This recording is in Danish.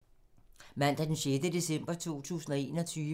Mandag d. 6. september 2021